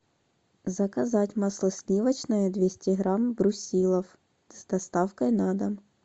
заказать масло сливочное двести грамм брусилов с доставкой на дом